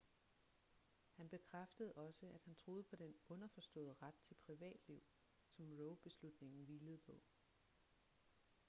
han bekræftede også at han troede på den underforståede ret til privatliv som roe-beslutningen hvilede på